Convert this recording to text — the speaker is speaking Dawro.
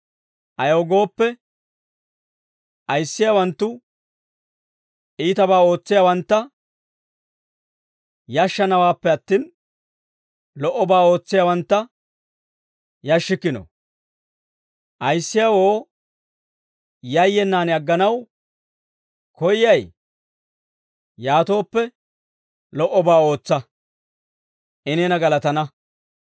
Ayaw gooppe, ayissiyaawanttu iitabaa ootsiyaawantta yashshanawaappe attin, lo"obaa ootsiyaawantta yashshikkino. Ayissiyaawoo yayyenaan agganaw koyyay? Yaatooppe lo"obaa ootsa; I neena galatana.